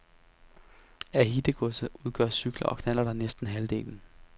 Af hittegodset udgør cykler og knallerter næsten halvdelen.